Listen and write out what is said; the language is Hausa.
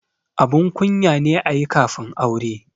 Abun kunya ne ayi kafin aure